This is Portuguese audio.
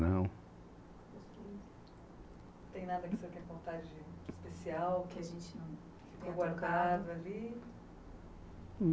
Não. Tem nada que o senhor queira contar de especial, que a gente não tenha colocado ali?